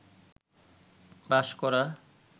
বাস করা